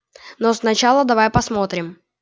но сначала давай посмотрим